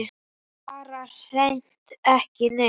Bara hreint ekki neitt.